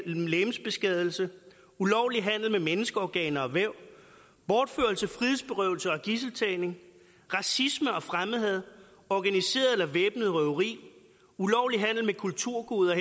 legemsbeskadigelse ulovlig handel med menneskeorganer og væv bortførelse frihedsberøvelse og gidseltagning racisme og fremmedhad organiseret eller væbnet røveri ulovlig handel med kulturgoder